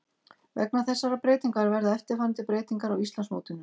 Vegna þessarar breytingar verða eftirfarandi breytingar á Íslandsmótinu: